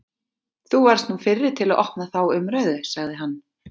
Þú varðst nú fyrri til að opna þá umræðu, sagði hann.